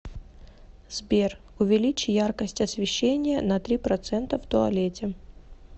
сбер увеличь яркость освещения на три процента в туалете